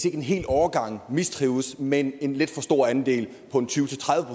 er en hel årgang der mistrives men en lidt for stor andel tyve til tredive